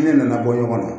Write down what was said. Ne nana bɔ ɲɔgɔn na